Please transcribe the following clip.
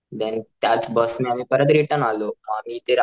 देण त्याच बस ने आम्ही परत रिटर्न आलो आणि ते